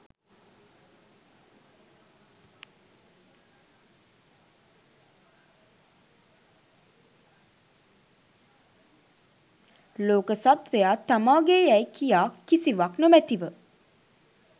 ලෝක සත්ත්වයා තමා ගේ් යැයි කියා කිසිවක් නොමැතිව